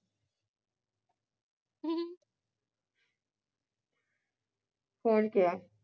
ਹੁਣ ਕਿਹਾ